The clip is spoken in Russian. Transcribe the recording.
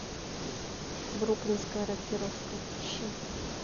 бруклинская рокировка ищи